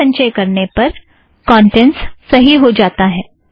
दोबारा संचय करने पर कौंटेंट्स सही हो जाती है